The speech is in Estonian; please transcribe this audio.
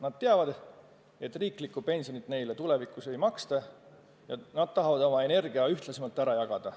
Nad teavad, et riiklikku pensioni neile tulevikus ei maksta ja nad tahavad oma energia ühtlasemalt ära jagada.